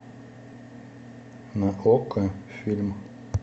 на окко фильм